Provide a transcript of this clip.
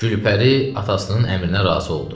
Gülpəri atasının əmrinə razı oldu.